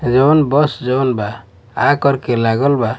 जवन बस जवन बा आ कर के लगल बा--